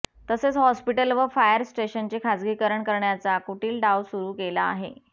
तसेच हॉस्पिटल व फायर स्टेशनचे खासगीकरण करण्याचा कुटील डाव सुरू केला आहे